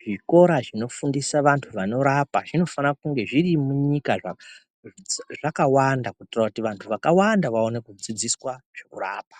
zvikora zvinofana kurapa vantu zviri munyika zvakawanda kuitira kuti vantu vakawanda vaone kudzidziswa zvekurapa.